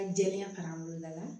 jɛlenya